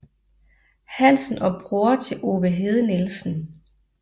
Hansen og bror til Ove Hede Nielsen